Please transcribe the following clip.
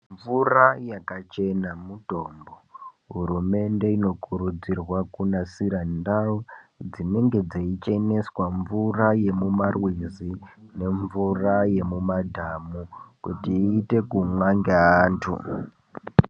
Mvura yakachena mutombo hurumende inokurudzirwa kunasira ndau dzinenge dzeicheneswa mvura yemumarwizi nemvura yemumadhamu kuti ikone kumwiwa ngeanthu.